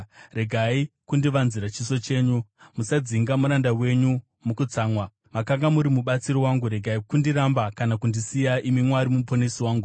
Regai kundivanzira chiso chenyu, musadzinga muranda wenyu mukutsamwa; makanga muri mubatsiri wangu. Regai kundiramba kana kundisiya, imi Mwari Muponesi wangu.